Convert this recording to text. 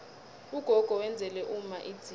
ugogo wenzela umma idzila